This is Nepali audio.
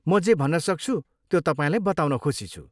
म जे भन्नसक्छु त्यो तपाईँलाई बताउन खुसी छु।